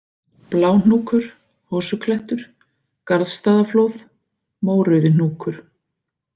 Bláhnúkur, Hosuklettur, Garðsstaðaflóð, Mórauðihnúkur